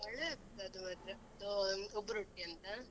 ಒಳ್ಳೇ ಆಗ್ತದೆ ಅದು ಮಾತ್ರ ಅದೂ ಉಬ್ರೊಟ್ಟಿ ಅಂತ.